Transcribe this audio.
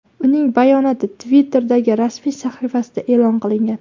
Uning bayonoti Twitter’dagi rasmiy sahifasida e’lon qilingan .